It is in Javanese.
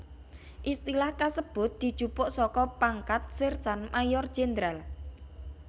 Istilah kasebut dijupuk saka pangkat Sersan Mayor Jènderal